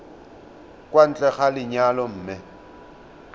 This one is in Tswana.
kwa ntle ga lenyalo mme